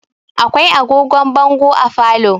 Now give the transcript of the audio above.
Akwai agogon bongo a falo.